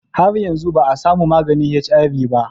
Har yanzu ba a samu maganin HIV ba